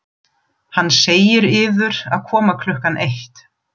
Hann segir yður að koma klukkan eitt.